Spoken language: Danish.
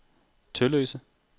Tølløse